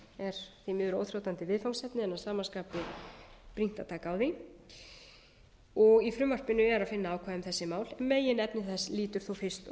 er því miður óþrjótandi viðfangsefni en að sama skapi brýnt að taka á því í frumvarpinu er að finna ákvæði um þessi mál meginefni þess lýtur þó fyrst og